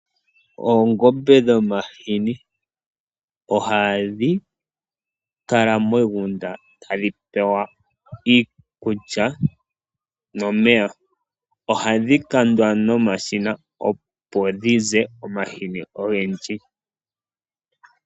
Oongombe dhomahini! Ohadhi kala moshigunda tadhi pewa iikulya nomeya. Ohadhi kandwa nomashina opo dhize omahini ogendji.